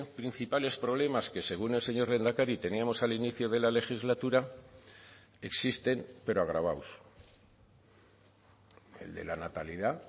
principales problemas que según el señor lehendakari teníamos al inicio de la legislatura existen pero agravados el de la natalidad